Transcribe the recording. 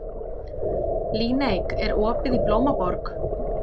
Líneik, er opið í Blómaborg?